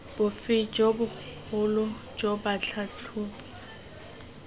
bofe jo bogolo jo batlhatlhobi